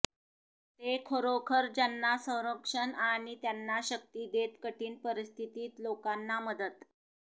ते खरोखर त्यांना संरक्षण आणि त्यांना शक्ती देत कठीण परिस्थितीत लोकांना मदत